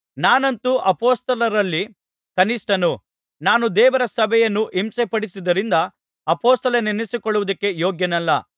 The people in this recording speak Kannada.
ನಾನಂತೂ ಅಪೊಸ್ತಲರಲ್ಲಿ ಕನಿಷ್ಠನು ನಾನು ದೇವರ ಸಭೆಯನ್ನು ಹಿಂಸೆಪಡಿಸಿದ್ದರಿಂದ ಅಪೊಸ್ತಲೆನಿಸಿಕೊಳ್ಳುವುದಕ್ಕೆ ಯೋಗ್ಯನಲ್ಲ